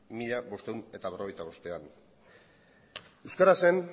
mila bostehun eta berrogeita bostean euskara zen